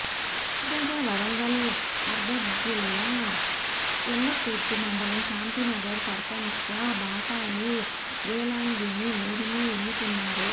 తాజాగా వరంగల్ అర్బన్జిల్లా ఎల్కతుర్తి మండలం శాంతినగర్ సర్పంచ్గా బాసాని వేలాంగిణి మేరిని ఎన్నుకున్నారు